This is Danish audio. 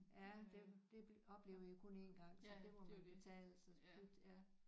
Ja det det oplever I jo kun én gang så det må man tage altså det ja